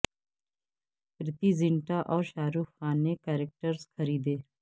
پریتی زینٹا اور شاہ رخ خان نے کرکٹرز خریدے